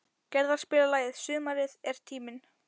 Gerðar, spilaðu lagið „Sumarið er tíminn“.